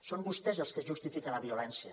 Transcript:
són vostès els que justifiquen la violència